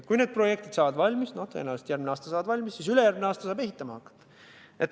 Kui need projektid saavad valmis – tõenäoliselt järgmisel aastal –, siis ülejärgmisel aastal saab ehitama hakata.